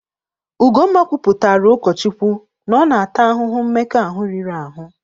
Ugomma kwuputaara ụkọ Chukwu na ọ na-ata ahụhụ mmekọahụ riri ahụ.